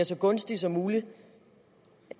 så gunstige som mulige